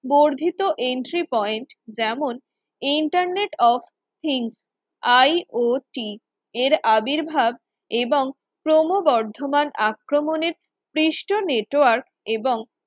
বর্ধিত Entry Point যেমন Internet of think IOT এর আবির্ভাব এবং ক্রমবর্ধমান আক্রমণের সৃষ্টি Network এবং